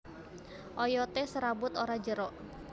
Oyoté serabut ora jero